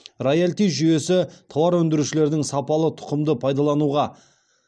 роялти жүйесі тауар өндірушілердің сапалы тұқымды пайдалануға